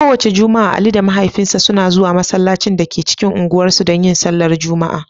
Kowace Juma'a, Ali da mahaifinsa suna zuwa masallacin da ke cikin unguwar su dan yin sallah Juma'a.